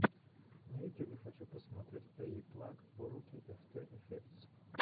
на ютюбе хочу посмотреть эйиплаг уроки эфтэ эфектс